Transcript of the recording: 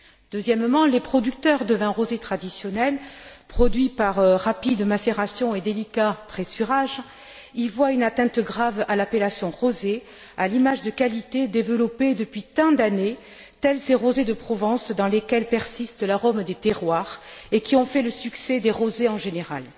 Deuxièmement, les producteurs de vins rosés traditionnels, produits par rapide macération et délicat pressurage, y voient une atteinte grave à l'appellation rosé, à l'image de qualité développée depuis tant d'années, de vins comme ces rosés de Provence dans lesquels persiste l'arôme des terroirs, et qui ont fait le succès des rosés en général.